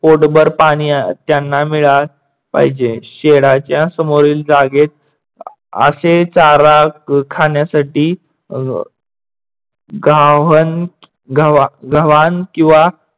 पोटभर पाणी त्यांना मिळायला पाहिजे. शेडाच्या समोरील जागेत अशे चारा खाण्यासाठी अह घावन गव्हाण किंवा